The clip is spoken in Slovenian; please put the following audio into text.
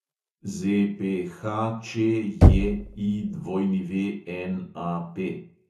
ZPHČJIWNAP